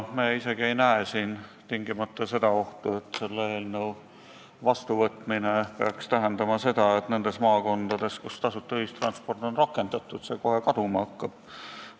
Me isegi ei näe siin tingimata ohtu, et selle eelnõu vastuvõtmine peaks tähendama seda, et nendes maakondades, kus tasuta ühistransporti on rakendatud, see kohe kaduma hakkab.